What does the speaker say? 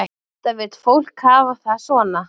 Enda vill fólk hafa það svo.